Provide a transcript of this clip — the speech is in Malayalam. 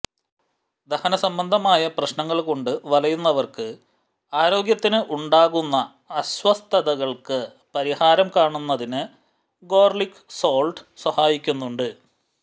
ദഹന സംബന്ധമായ പ്രശ്നങ്ങള് കൊണ്ട് വലയുന്നവര്ക്ക് ആരോഗ്യത്തിന് ഉണ്ടാകുന്ന അസ്വസ്ഥതകള്ക്ക് പരിഹാരം കാണുന്നതിന് ഗാര്ലിക് സാള്ട്ട് സഹായിക്കുന്നുണ്ട്